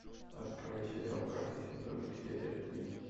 открой сериал карточный домик серия три